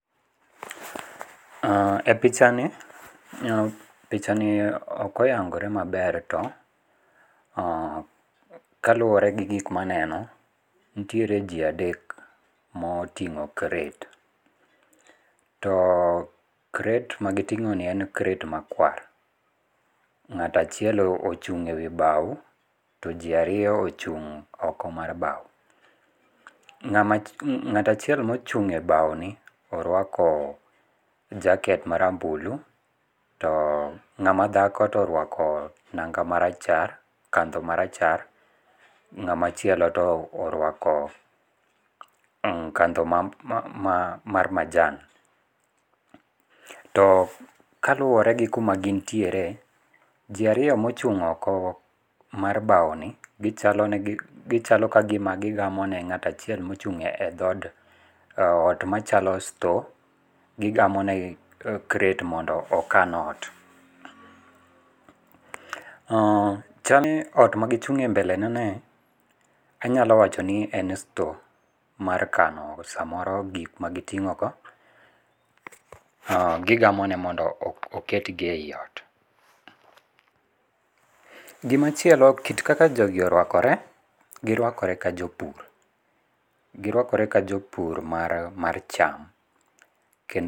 E pichani, pichani okoyangore maber to kaluore gi gik maneno, nitiere ji adek moting'o crate, too crate ma giting'oni en crate ma kwar, ng'at achiel ochung' e wi bau, to ji ariyo ochung' oko mar bau, ng'at achiel ma ochung' e wi bau ni orwako jacket marambulu to ng'ama dhako to orwako nang'a marachar kadho marachar to ng'ama chielo to orwako kadho mar majan, to kaluore gi kuma gin tiere ji ariyo ma ochung' okogo mar bau ni gichalo ka gigamone ng'at achiel ma ochung' e dhad ot machalo store, gigamonegi crate mondo okan ot, chalni ot magichung'e e mbeleneni anyalo wachoneni en store mar kano samoro gik ma giting'ogo gigamonegi mondo oketgi e ot. Gimachielo kit kaka jogi orwakore girwakore ka jo pur girwakore ka jopur mar cham kendo.